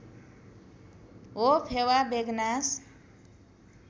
हो फेवा बेगनास